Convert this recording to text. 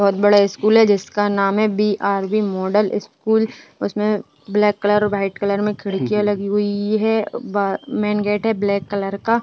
बहोत बड़ा स्कूल है जिसका नाम है बीआरवी मॉडल स्कूल । उसमें ब्लैक कलर और व्हाइट कलर में खिड़कियां लगी हुई हैं। ब मेन गेट है ब्लैक कलर का।